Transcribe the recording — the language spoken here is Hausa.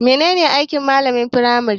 Menene aiki malamin firmari?